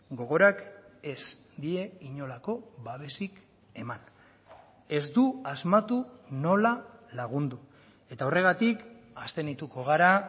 gogorak ez die inolako babesik eman ez du asmatu nola lagundu eta horregatik abstenituko gara